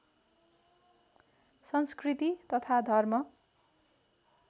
संस्कृति तथा धर्म